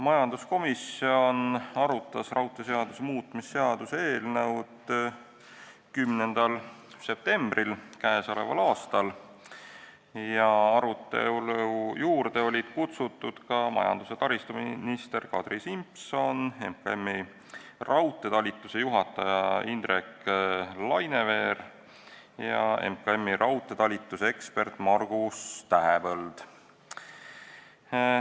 Majanduskomisjon arutas raudteeseaduse muutmise seaduse eelnõu 10. septembril k.a. Arutelu juurde olid kutsutud majandus- ja taristuminister Kadri Simson ning Majandus- ja Kommunikatsiooniministeeriumi raudteetalituse juhataja Indrek Laineveer ja ekspert Margus Tähepõld.